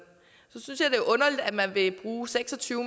at man vil bruge seks og tyve